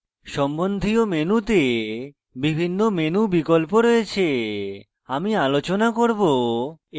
সম্বন্ধীয় মেনুতে বিভিন্ন menu বিকল্প রয়েছে আমি আলোচনা করব